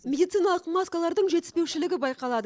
медициналық маскалардың жетіспеушілігі байқалады